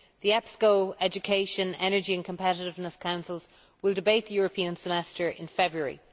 The EPSCO, Education, Energy and Competitiveness Councils will debate the European Semester in February.